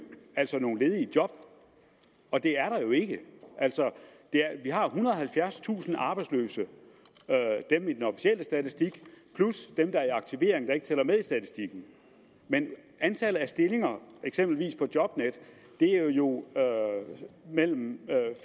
altså nogle ledige job og det er der jo ikke vi har ethundrede og halvfjerdstusind arbejdsløse dem i den officielle statistik plus dem der er i aktivering der ikke tæller med i statistikken men antallet af stillinger eksempelvis på jobnet er jo mellem